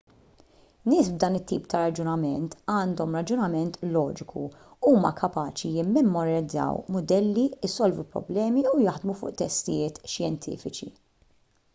nies b'dan it-tip ta' raġunament għandhom raġunament loġiku huma kapaċi jimmemorizzaw mudelli isolvu problemi u jaħdmu fuq testijiet xjentifiċi